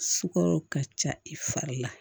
Sukaro ka ca i fari la